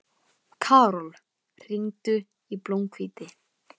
Karol, hringdu í Blómhvíti.